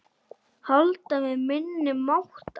Halda með minni máttar.